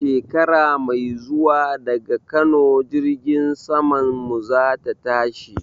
Shekara mai zuwa daga Kano jirgin saman mu zai tashi